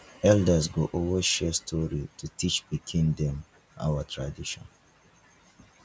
elders go always share story to teach pikin them our tradition